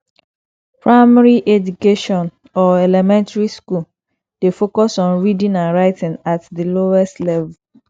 primary education or elementry school dey focus on reading and writing at the lowest level